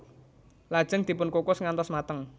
Lajeng dipun kukus ngantos mateng